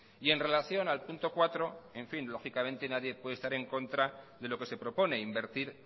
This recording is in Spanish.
y en relación al punto cuatro en fin lógicamente nadie puede estar en contra de lo que se propone invertir